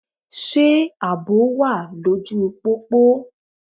Ṣé àbò wà lóju u pópó?